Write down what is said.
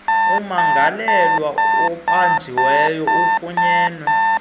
ummangalelwa ubanjiwe ufunyenwe